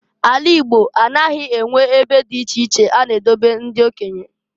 A la Igbo anaghị enwe ebe di iche a na edobe ndị okenye.